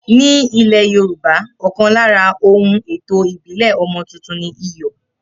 Ni ile Yorùbá, ọkan lára ohun ètò ìbílè ọmọ tuntun ni iyò